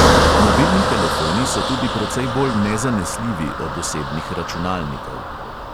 Mobilni telefoni so tudi precej bolj nezanesljivi od osebnih računalnikov.